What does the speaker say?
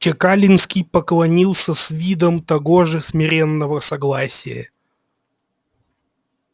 чекалинский поклонился с видом того же смиренного согласия